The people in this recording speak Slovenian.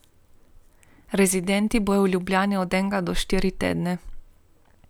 Rezidenti bodo v Ljubljani od enega do štiri tedne.